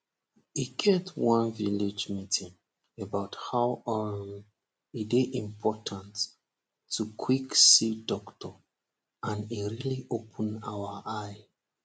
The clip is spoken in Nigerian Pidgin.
we get one village meeting about how um e dey important to quick see doctor and e really open our eye